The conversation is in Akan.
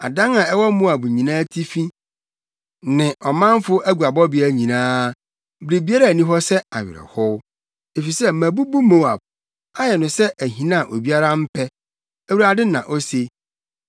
Adan a ɛwɔ Moab nyinaa atifi ne ɔmanfo aguabɔbea nyinaa; biribiara nni hɔ sɛ awerɛhow, efisɛ mabubu Moab ayɛ no sɛ ahina a obiara mpɛ,” Awurade na ose.